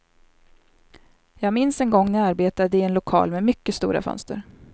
Jag minns en gång när jag arbetade i en lokal med mycket stora fönster.